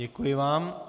Děkuji vám.